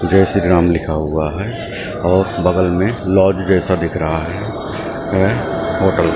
जय श्री राम लिखा हुआ है और बगल में लॉज जैसा दिख रहा है है होटल ।